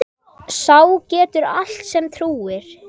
Sá getur allt sem trúir.